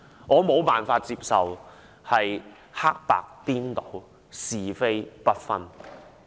我無法接受黑白顛倒，是非不分。